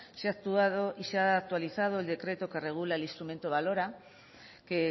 se ha actualizado el decreto que regula el instrumento valora que